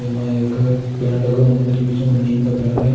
एमाँ एक पेड़ लगो हैं मंदिर के बीच में वो नीम का पेड़ है।